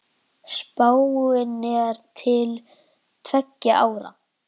Spáin er til tveggja ára.